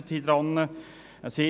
Es gab ein Hin und Her.